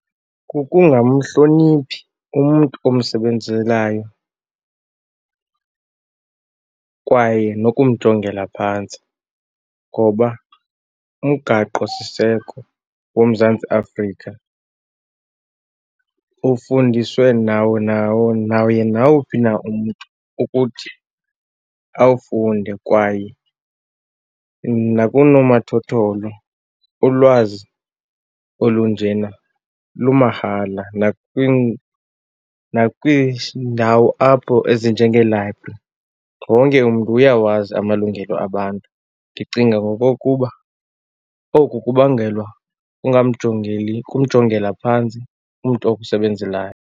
Kukungamhloniphi umntu omsebenzelayo kwaye nokumjongela phantsi ngoba uMgaqosiseko woMzantsi Afrika ufundiswe nawo nawo naye nawuphi na umntu ukuthi awufunde. Kwaye nakoonomathotholo ulwazi olunjena lumahala nakwiindawo apho ezinjengee-library, wonke umntu uyawazi amalungelo abantu. Ndicinga ngokokuba oku kubangelwa kungamjongeli, kumjongela phantsi umntu okusebenzelayo.